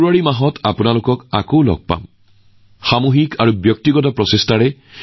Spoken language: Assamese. দেশৰ জনসাধাৰণৰ সামূহিক আৰু ব্যক্তিগত প্ৰচেষ্টাৰ জৰিয়তে দেশখন কেনেদৰে আগবাঢ়িছে তাৰ ওপৰত আমি গুৰুত্ব আৰোপ কৰিম